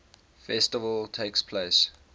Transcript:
festival takes place